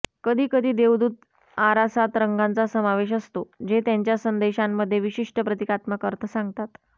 कधीकधी देवदूत आरासात रंगांचा समावेश असतो जे त्यांच्या संदेशांमध्ये विशिष्ट प्रतीकात्मक अर्थ सांगतात